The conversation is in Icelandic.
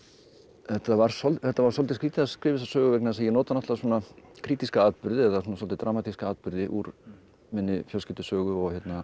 þetta var þetta var svolítið skrýtið að skrifa þessa sögu vegna þess að ég nota svona krítíska atburði eða svolítið dramatíska atburði úr minni fjölskyldusögu og